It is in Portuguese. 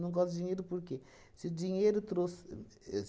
Não gosto de dinheiro por quê? Se dinheiro trouxe e